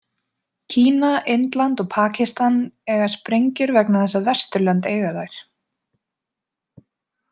Kína, Indland og Pakistan eiga sprengjur vegna þess að Vesturlönd eiga þær.